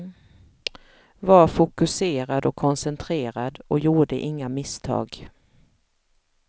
Var fokuserad och koncentrerad och gjorde inga misstag.